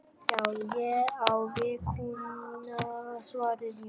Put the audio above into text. Já, ég á við kúna, svaraði Jón.